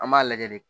An b'a lajɛ de